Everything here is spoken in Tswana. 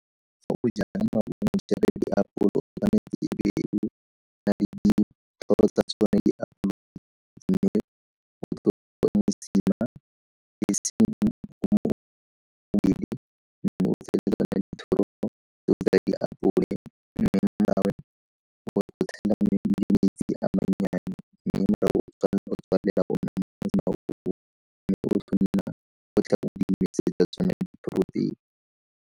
Fa o jala maungo jaaka diapole tshwanetse e be o na le dipeo tsa tsone mme mme o tsentsha dithoro tsa diapole mme morago o tshele metsi a mannyane mme morago o .